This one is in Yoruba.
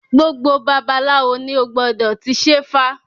Gbogbo babaláwo ni ó gbọdọ̀ ti ṣẹ́fá